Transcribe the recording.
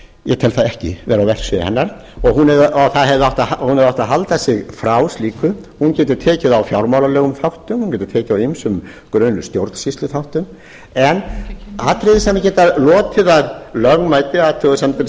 ég tel það ekki vera á verksviði hennar og hún hefði átt að halda sig frá slíku hún getur tekið á fjármálalegum þáttum hún getur tekið á ýmsum grunnstjórnsýsluþáttum en atriði sem geta lotið að lögmæti athugasemdir